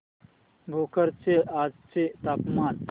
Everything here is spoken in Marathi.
भोकर चे आजचे तापमान